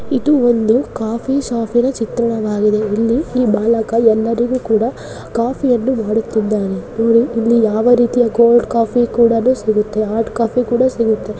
ಇದು ಒಂದು ಕಾಫಿ ಶಾಪಿನ ಚಿತ್ರಣವಾಗಿದೆ. ಇಲ್ಲಿ ಈ ಬಾಲಕ ಎಲಾಲರಿಗೂ ಕಾಫಿ ಮಾಡುತ್ತಿದಾನೆ ಇಲ್ಲಿ ಕೋಲ್ಡ್ ಕಾಫಿ ಸಿಗುತ್ತೆ ಹಾಟ್ ಕಾಫಿ ಸಿಗುತ್ತೆ .